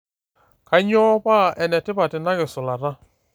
Kanyoo paa ene tipat ina kisulata.